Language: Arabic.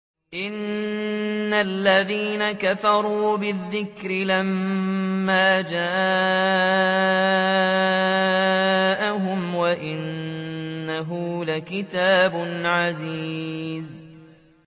إِنَّ الَّذِينَ كَفَرُوا بِالذِّكْرِ لَمَّا جَاءَهُمْ ۖ وَإِنَّهُ لَكِتَابٌ عَزِيزٌ